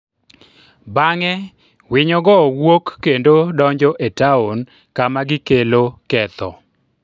Bang’e, winyogo wuok kendo donjo e taon kama gikelo ketho.